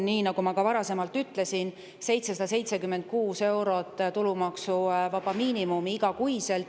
Nagu ma ka varasemalt ütlesin, 776 eurot on see tulumaksuvaba miinimum iga kuu.